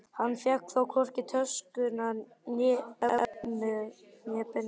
Hann fékk þó hvorki töskuna, efnið né peninga.